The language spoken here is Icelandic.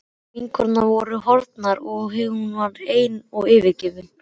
Vinkonurnar voru horfnar og hún var ein og yfirgefin.